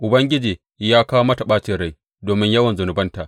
Ubangiji ya kawo mata ɓacin rai domin yawan zunubanta.